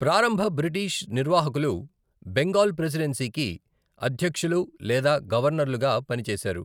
ప్రారంభ బ్రిటీష్ నిర్వాహకులు బెంగాల్ ప్రెసిడెన్సీకి అధ్యక్షులు లేదా గవర్నర్లుగా పని చేసారు.